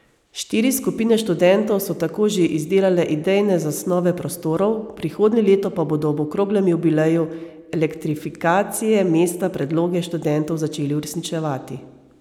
Štiri skupine študentov so tako že izdelale idejne zasnove prostorov, prihodnje leto pa bodo ob okroglem jubileju elektrifikacije mesta predloge študentov začeli uresničevati.